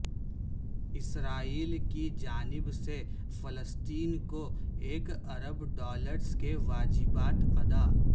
اسرائیل کی جانب سے فلسطین کو ایک ارب ڈالرس کے واجبات ادا